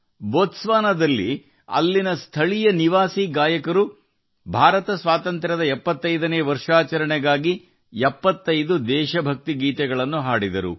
boats ವಾನಾದಲ್ಲಿ ವಾಸಿಸುವ ಸ್ಥಳೀಯ ಗಾಯಕರು 75 ದೇಶಭಕ್ತಿಯ ಗೀತೆಗಳ ಮೂಲಕ ಭಾರತದ ಸ್ವಾತಂತ್ರ್ಯದ 75 ನೇ ವರ್ಷವನ್ನು ಆಚರಿಸಿದರು